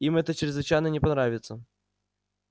им это чрезвычайно не понравится